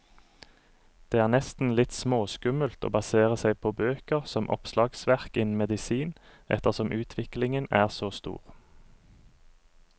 Det er nesten litt småskummelt å basere seg på bøker som oppslagsverk innen medisin, ettersom utviklingen er så stor.